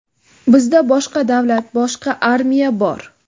Bizda boshqa davlat, boshqa armiya bor.